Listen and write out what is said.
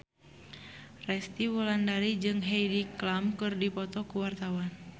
Resty Wulandari jeung Heidi Klum keur dipoto ku wartawan